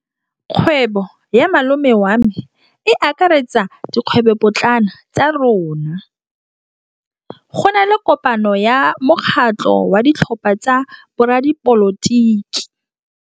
Kgwêbô ya malome wa me e akaretsa dikgwêbôpotlana tsa rona. Go na le kopanô ya mokgatlhô wa ditlhopha tsa boradipolotiki.